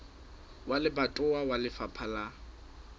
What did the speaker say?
wa lebatowa wa lefapha la